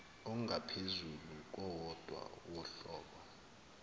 ongaphezulu kowodwa wohlobo